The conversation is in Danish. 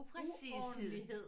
Uordentlighed